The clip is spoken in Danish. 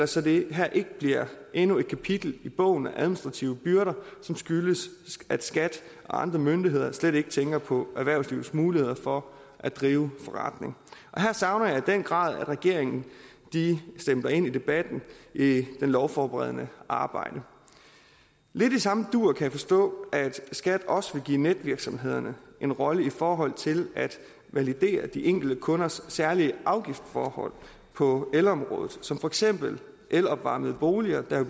så det her ikke bliver endnu et kapitel i bogen om administrative byrder som skyldes at skat og andre myndigheder slet ikke tænker på erhvervslivets muligheder for at drive forretning her savner jeg i den grad at regeringen stempler ind i debatten i det lovforberedende arbejde lidt i samme dur kan jeg forstå at skat også vil give netvirksomhederne en rolle i forhold til at validere de enkelte kunders særlige afgiftsforhold på elområdet som for eksempel elopvarmede boliger der